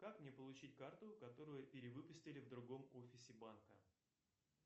как мне получить карту которую перевыпустили в другом офисе банка